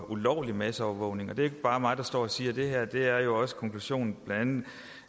ulovlig masseovervågning det er ikke bare mig der står og siger det her det er jo også konklusionen